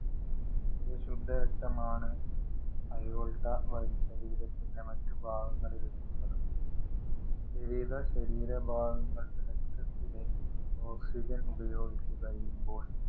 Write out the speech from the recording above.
ഈ ശുദ്ധരക്തമാണ്. aorta വഴി ശരീരത്തിന്‍റെ മറ്റുഭാഗങ്ങളില്‍ എത്തുന്നത്. വിവിധ ശരീരഭാഗങ്ങള്‍ രക്തത്തിലെ ഓക്സിജന്‍ ഉപയോഗിച്ച് കഴിയുമ്പോള്‍